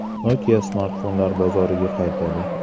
Nokia smartfonlar bozoriga qaytadi.